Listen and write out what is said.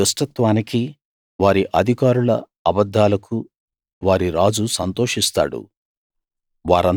వారి దుష్టత్వానికి వారి అధికారుల అబద్ధాలకు వారి రాజు సంతోషిస్తాడు